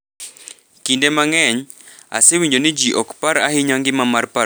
Kinde mang’eny, asewinjo ni ji ok par ahinya ngima mar paro mar jotugo,